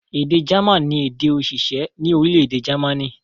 Èdè German ni èdè-òṣìṣẹ́ ní orílẹ̀-èdè Jámánì.